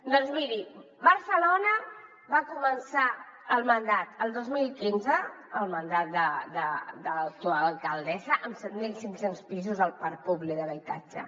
doncs miri barcelona va començar el mandat el dos mil quinze el mandat de l’actual alcaldessa amb set mil cinc cents pisos al parc públic d’habitatge